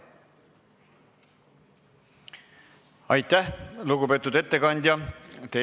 Aitäh, lugupeetud ettekandja!